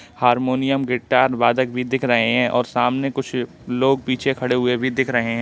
Harmonium guitar वादक भी दिख रहे हैं और सामने कुछ लोग पीछे खड़े हुए भी दिख रहे हैं।